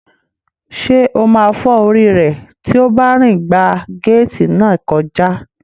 Ṣé ó máa fọ́ orí rẹ̀ tí ó bá rìn gba gééti náà kọjá?